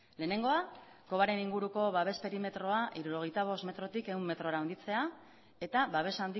lehenengoa kobaren inguruko babes perimetroa hirurogeita bost metrotik ehun metrora handitzea eta babes